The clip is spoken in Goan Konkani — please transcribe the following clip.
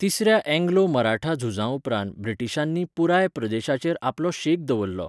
तिसऱ्या अँग्लो मराठा झुजा उपरांत ब्रिटीशांनी पुराय प्रदेशाचेर आपलो शेक दवरलो.